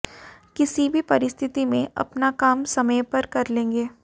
किसी भी परिस्थिति में अपना काम समय पर कर लेंगे